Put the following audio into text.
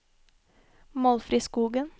Målfrid Skogen